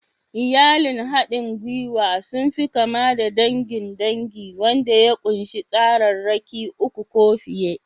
Iyalin haɗin gwiwa sun fi kama da dangin dangi wanda ya ƙunshi tsararraki uku ko fiye.